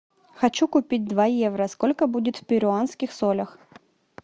хочу купить два евро сколько будет в перуанских солях